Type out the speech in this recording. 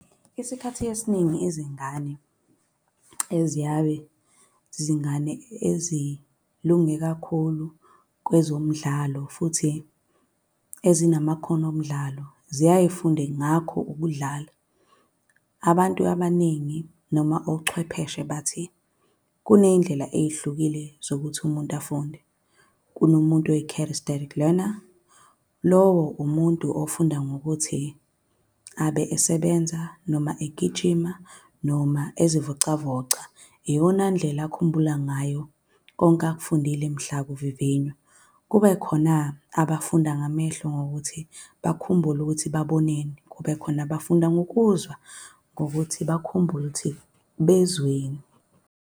Esikhathini esiningi izingane eziyaye zizingane ezilunge kakhulu kwezomidlalo, futhi ezinamakhono omdlalo, ziyaye zifunde ngakho ukudlala. Abantu abaningi, noma ochwepheshe bathi, kuney'ndlela ey'hlukile zokuthi umuntu afunde. Kunomuntu leaner. Lowo umuntu ofunda ngokuthi abe esebenza, noma egijima, noma ezivocavoca. Iyona ndlela akhumbula ngayo konke akufundile mhla kuvivinywa. Kube khona abafunda ngamehlo, ngokuthi bakhumbule ukuthi baboneni. Kube khona bafunda ngokuzwa, ngokuthi bakhumbule ukuthi bezweni.